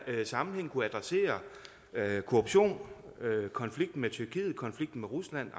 sammenhæng kunne adressere korruption konflikten med tyrkiet konflikten med rusland